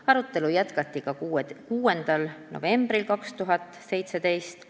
Arutelu jätkati ka 6. novembril 2017.